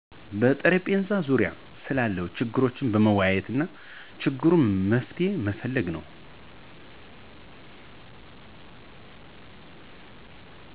በጠረጴዛ ዙሪያ ስለ ችግሩ መወያየትና ለችግሩ መፍትሄ መፈለግ ነው።